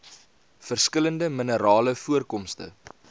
verskillende minerale voorkomste